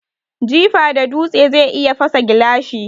Jifa da dutse zai iya fasa gilashi.